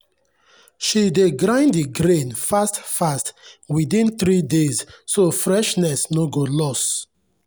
she dey grind the grain fast-fast within three days so freshness no go lost.